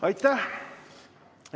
Aitäh!